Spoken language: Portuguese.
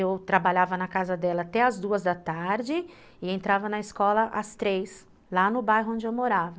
Eu trabalhava na casa dela até as duas da tarde e entrava na escola às três, lá no bairro onde eu morava.